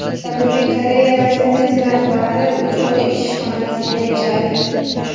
Janubiy Koreya razvedkasi rahbari uch oy ishxonasida yashadi.